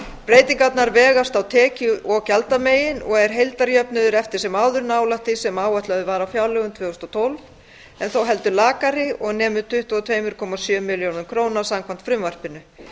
breytingarnar vegast á tekju og gjaldamegin og er heildarjöfnuður eftir sem áður nálægt því sem áætlað var í fjárlögum tvö þúsund og tólf en þó heldur lakari og nemur tuttugu og tvö komma sjö milljörðum króna samkvæmt frumvarpinu